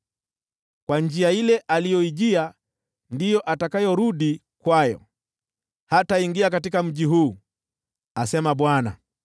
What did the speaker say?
Kwa njia ile aliyoijia ndiyo atakayorudi; hataingia katika mji huu,” asema Bwana .